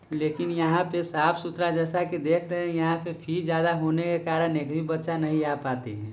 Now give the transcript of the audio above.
लेकिन यहाँ पे साफ-सुथरा जैसा की देख रहे है यहाँ पे फी ज्यादा होने के कारण एक भी बच्चा नहीं आ पाते हैं।